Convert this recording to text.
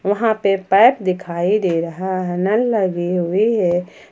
वहां पे पाइप दिखाई दे रहा है नल लगी हुई है।